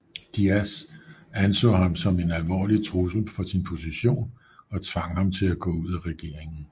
Díaz anså ham som en alvorlig trussel for sin position og tvang ham til at gå ud af regeringen